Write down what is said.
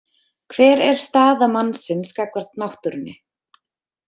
Hver er staða mannsins gagnvart náttúrunni?